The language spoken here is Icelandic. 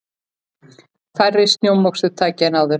Færri snjómoksturstæki en áður